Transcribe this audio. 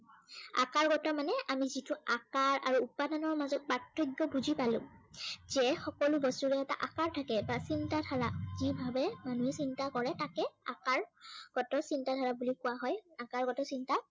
আকাৰগত মানে আমি যিটো আকাৰ আৰু উপাদানৰ মাজত পাৰ্থক্য় বুজি পালো। সেয়ে সকলো বস্তুৰে এটা আকাৰ থাকে বা চিন্তাধাৰা যি ভাবে মানুহে চিন্তা কৰে। তাকে আকাৰ গত চিন্তাধাৰা বুলি কোৱা হয়।